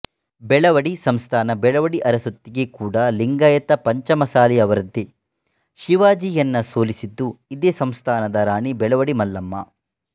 ಬೆಳವಡಿ ಸಂಸ್ಥಾನ ಬೆಳವಡಿ ಅರಸೊತ್ತಿಗೆ ಕೂಡ ಲಿಂಗಾಯತ ಪಂಚಮಸಾಲಿಯವರದ್ದೆ ಶಿವಾಜಿಯನ್ನ ಸೊಲಿಸಿದ್ದು ಇದೇ ಸಂಸ್ಥಾನದ ರಾಣಿ ಬೆಳವಡಿ ಮಲ್ಲಮ್ಮ